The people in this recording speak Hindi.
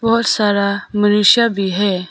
बहोत सारा मनुष्य भी हैं।